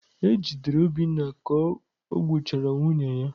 E jidere Obinna ka o gbuchara nwunye ya.